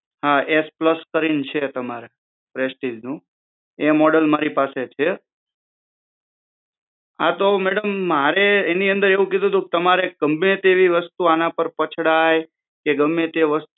હા S plus કરી ને છે તમારે પ્રેસ્ટીજનું એ મોડેલ મારી પાસે છે હા તો મેડમ મારે એની અંદર એવું કીધું તું કે તમારે ગમે તેવી વસ્તુ આંના પર પછડાય કે ગમે તે